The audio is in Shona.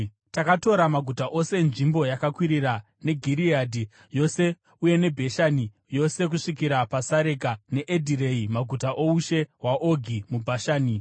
Takatora maguta ose enzvimbo yakakwirira neGireadhi yose, uye neBhashani yose kusvikira paSareka neEdhirei, maguta oushe hwaOgi muBhashani.